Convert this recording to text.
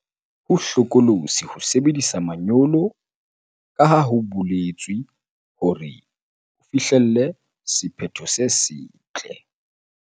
Ho hlokolosi ho sebedisa manyolo jwalo ka ha ho boletswe hore o fihlelle sephetho se setle.